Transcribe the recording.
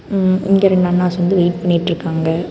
ம் இங்க ரெண்டு அண்ணாஸ் வந்து வெயிட் பண்ணிட்டுருக்காங்க.